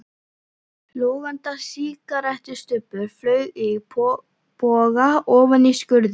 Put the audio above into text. Logandi sígarettustubbur flaug í boga ofan í skurðinn.